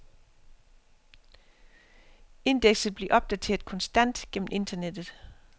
Indekset bliver opdateret konstant gennem internettet.